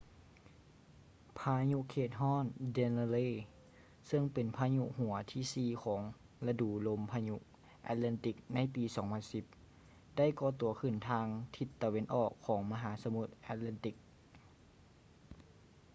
ພາຍຸເຂດຮ້ອນ danielle ເຊິ່ງເປັນພາຍຸຫົວທີສີ່ຂອງລະດູລົມພາຍຸ atlantic ໃນປີ 2010 ໄດ້ກໍ່ຕົວຂຶ້ນທາງທິດຕາເວັນອອກຂອງມະຫາສະໝຸດ atlantic